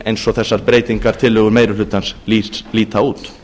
eins og þessar breytingartillögur meiri hlutans líta út